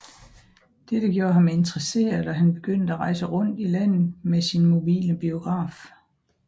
Dette gjorde ham interesseret og han begyndte at rejse rundt i landet med hans mobile biograf